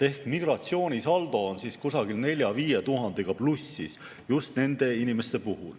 Ehk migratsioonisaldo on nende inimeste puhul siis kusagil 4000–5000-ga plussis.